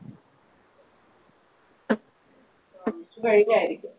Vishu കഴിഞ്ഞായിരിക്കും